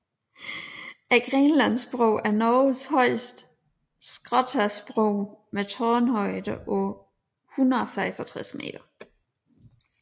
Grenlandsbroen er Norges højeste skråstagsbro med en tårnhøjde på 166 meter